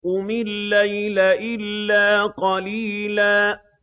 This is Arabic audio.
قُمِ اللَّيْلَ إِلَّا قَلِيلًا